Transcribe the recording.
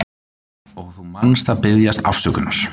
Og þú manst að biðjast afsökunar.